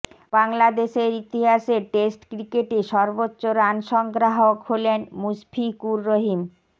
বাংলাদেশের ইতিহাসে টেস্ট ক্রিকেটে সর্বোচ্চ রান সংগ্রাহক হলেন মুশফিকুর রহিম